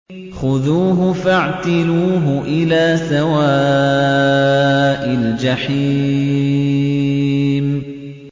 خُذُوهُ فَاعْتِلُوهُ إِلَىٰ سَوَاءِ الْجَحِيمِ